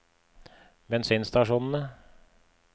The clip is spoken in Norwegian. bensinstasjonene